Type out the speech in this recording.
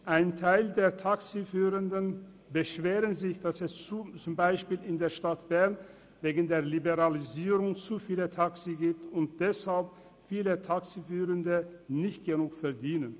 Ein Teil der Taxifahrenden beschwert sich zum Beispiel, dass es in der Stadt Bern wegen der Liberalisierung zu viele Taxis gibt und deshalb viele Taxifahrende nicht genug verdienen.